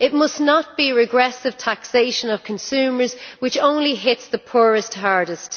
It must not be regressive taxation of consumers, which only hits the poorest hardest.